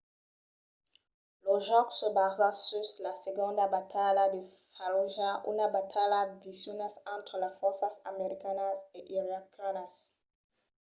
lo jòc se basa sus la segonda batalha de fallujah una batalha viciosa entre las fòrças americanas e iraquianas